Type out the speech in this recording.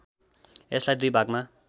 यसलाई दुई भागमा